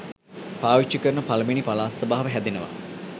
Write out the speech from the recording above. පාවිච්චි කරන පළමුවැනි පළාත් සභාව හැදෙනවා